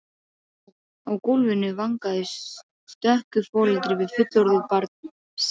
Guðmundur var allra manna hæstur en lítillega boginn í baki.